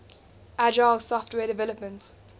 agile software development